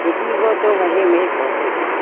dihwo to hahing e po taiga.